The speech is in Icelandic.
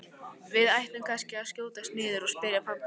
Við ættum kannski að skjótast niður og spyrja pabba.